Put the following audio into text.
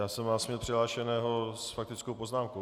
Já jsem vás měl přihlášeného s faktickou poznámkou.